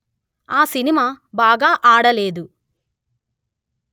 ఆ సినిమా బాగా ఆడలేదు